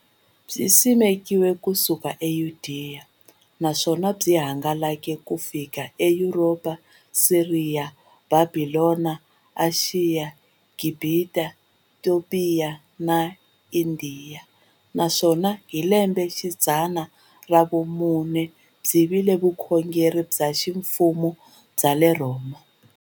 Byisimekiwe ku suka eYudeya, naswona byi hangalake ku xika eYuropa, Siriya, Bhabhilona, Ashiya, Gibhita, Topiya na Indiya, naswona hi lembexidzana ra vumune byi vile vukhongeri bya ximfumo bya le Rhoma.